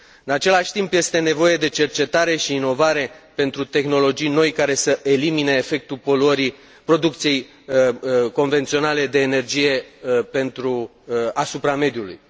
În același timp, este nevoie de cercetare și inovare pentru tehnologii noi care să elimine efectul poluării producției convenționale de energie asupra mediului.